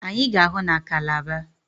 Anyị ga-ahụ na Kalaba.